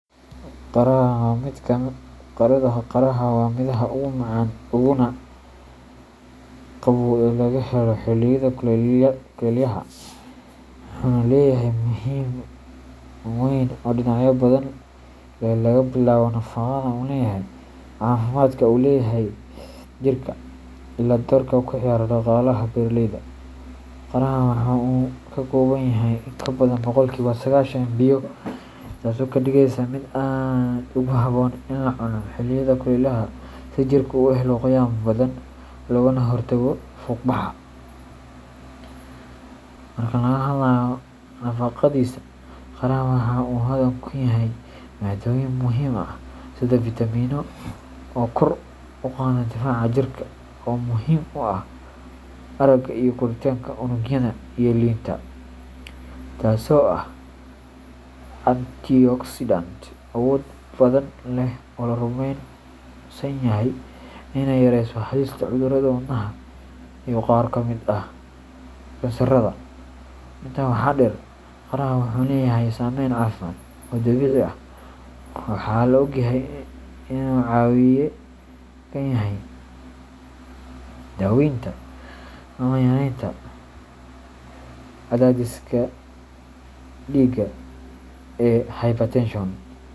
Qaraha waa midhaha ugu macaan uguna qabow ee laga helo xilliyada kulaylaha, wuxuuna leeyahay muhiimad weyn oo dhinacyo badan leh laga bilaabo nafaqada uu leeyahay, caafimaadka uu u leeyahay jirka, illaa doorka uu ka ciyaaro dhaqaalaha beeraleyda. Qaraha waxa uu ka kooban yahay in ka badan boqolkiba sagashan biyo, taasoo ka dhigaysa mid aad ugu habboon in la cuno xilliyada kulaylaha si jirku u helo qoyaan badan, loogana hortago fuuqbaxa. Marka laga hadlayo nafaqadiisa, qaraha waxa uu hodan ku yahay maaddooyin muhiim ah sida vitamino oo kor u qaada difaaca jirka, oo muhiim u ah aragga iyo koritaanka unugyada, iyo linta taasoo ah antioxidant awood badan leh oo la rumeysan yahay inay yareyso halista cudurrada wadnaha iyo qaar ka mid ah kansarada. Intaa waxaa dheer, qaraha wuxuu leeyahay saameyn caafimaad oo dabiici ah. Waxaa la ogyahay inuu caawiye ka yahay daweynta ama yaraynta cadaadiska dhiigga ee hypertension.